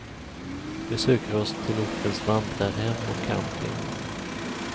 Vi söker oss till ortens vandrarhem och camping.